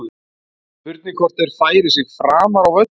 Spurning hvort þeir færi sig framar á völlinn.